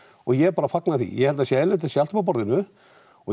ég bara fanga því ég held það sé eðlilegt það sé allt uppá borðinu og ég